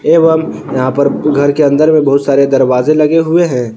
एवं यहां पर घर के अंदर में बहुत सारे दरवाजे लगे हुए हैं।